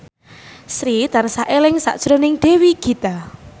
Sri tansah eling sakjroning Dewi Gita